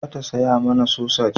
Za ta saya mana sosaj